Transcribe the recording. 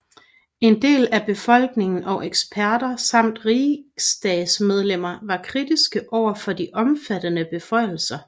En del af befolkningen og eksperter samt riksdagsmedlemmer var kritiske overfor de omfattende beføjelser